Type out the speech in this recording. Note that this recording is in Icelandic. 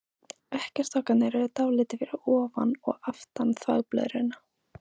Eggjastokkarnir eru dálítið fyrir ofan og aftan þvagblöðruna.